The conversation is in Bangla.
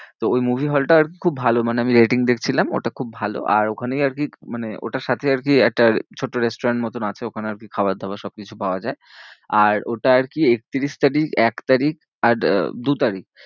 তো ওই movie hall টার খুব ভালো মানে আমি rating দেখছিলাম ওটা খুব ভালো। আর ওখানেই আরকি মানে ওটার সাথেই আরকি একটা ছোট্ট restaurant মতন আছে। ওখানে আরকি খাবার দাবার সব কিছু পাওয়া যায়। আর ওটা আরকি একত্রিশ তারিখ এক তারিখ আর আহ দু তারিখ